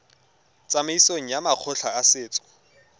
tsamaisong ya makgotla a setso